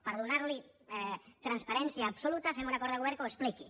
per donar hi transparència absoluta fem un acord de govern que ho expliqui